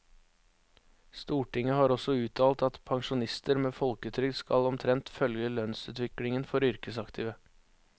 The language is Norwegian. Stortinget har også uttalt at pensjonister med folketrygd skal omtrent følge lønnsutviklingen for yrkesaktive.